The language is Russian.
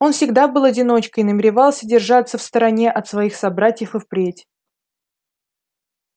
он всегда был одиночкой и намеревался держаться в стороне от своих собратьев и впредь